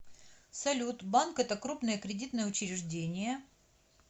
салют банк это крупное кредитное учреждение